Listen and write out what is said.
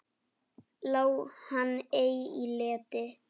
Lá hann ei í leti.